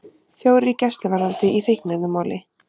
Fjórir í gæsluvarðhald í fíkniefnamáli